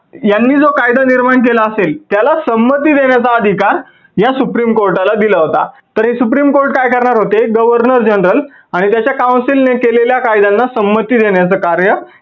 यांनी जो कायदा निर्माण केला असेल त्याला संमती देण्याचा अधिकार या supreme कोर्टाला दिला होता. तर हे supreme court काय करणार होते governor general आणि त्याच्या council ने केलेल्या कायद्यांना संमती देण्याच कार्य